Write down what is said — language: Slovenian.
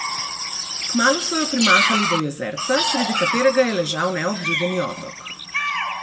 Kmalu so jo primahali do jezerca, sredi katerega je ležal neobljudeni otok.